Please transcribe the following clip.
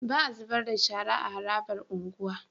Ba a zubarda shara a harabar unguwa